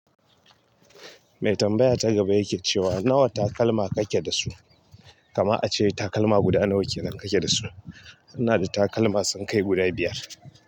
Mai tambaya ta gaba yake cewa nawa takalma kake da su? Kamar ace takalma guda nawa kenan kake dasu ina da takalma sun kai guda biyar.